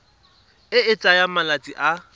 e e tsayang malatsi a